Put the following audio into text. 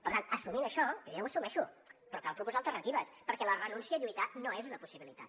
per tant assumint això jo ja ho assumeixo però cal proposar alternatives perquè la renúncia a lluitar no és una possibilitat